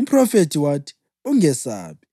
Umphrofethi wathi, “Ungesabi.